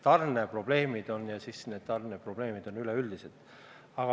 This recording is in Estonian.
Tarneprobleeme on ja need on üleüldised.